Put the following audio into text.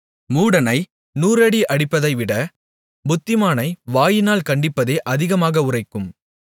மூடனை நூறடி அடிப்பதைவிட புத்திமானை வாயினால் கண்டிப்பதே அதிகமாக உறைக்கும்